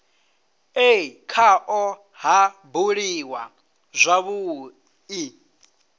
e khao ha buliwa zwavhui